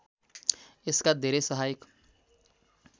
यसका धेरै सहायक